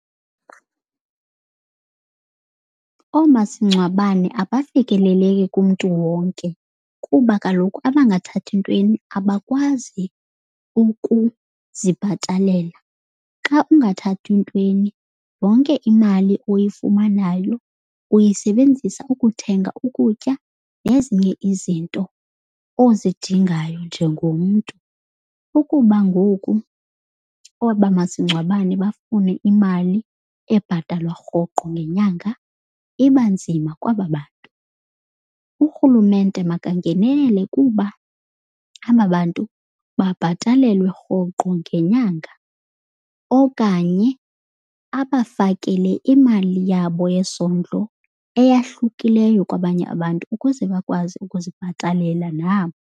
Oomasingcwabane abafikeleleki kumntu wonke kuba kaloku abangathathi ntweni abakwazi ukuzibhatalela. Xa ungathathi ntweni yonke imali oyifumanayo uyisebenzisa ukuthenga ukutya nezinye izinto ozidingayo njengomntu. Ukuba ngoku aba masingcwabane bafune imali ebhatalwa rhoqo ngenyanga iba nzima kwaba bantu. Urhulumente makangenelele kuba aba bantu babhatalelwe rhoqo ngenyanga okanye abafakele imali yabo yesondlo eyahlukileyo kwabanye abantu ukuze bakwazi ukuzibhatalela nabo.